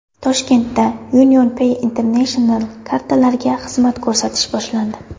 Toshkentda UnionPay International kartalariga xizmat ko‘rsatish boshlandi.